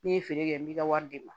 N'i ye feere kɛ n bɛ ka wari di ne ma